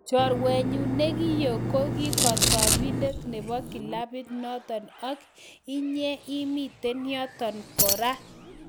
"Chorwenyun ne ki oo ko kigasibindet nebo kilabit noton - ak inye imiten yoton kora."